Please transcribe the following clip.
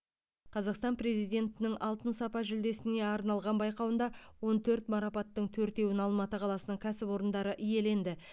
қазақстан президентінің алтын сапа жүлдесіне арналған байқауында он төрт марапаттың төртеуін алматы қаласының кәсіпорындары иеленді